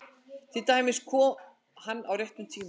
Til dæmis: Kom hann á réttum tíma?